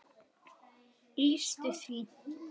lýstu því?